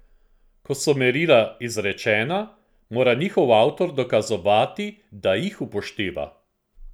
Ko so merila izrečena, mora njihov avtor dokazovati, da jih upošteva.